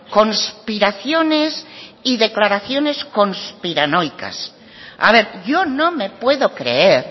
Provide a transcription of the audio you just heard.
conspiraciones y declaraciones conspiranoicas a ver yo no me puedo creer